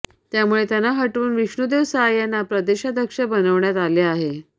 त्यामुळे त्यांना हटवून विष्णुदेव साय यांना प्रदेशाध्यक्ष बनवण्यात आले आहे